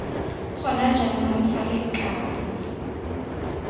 gona jaanong fa lo kabo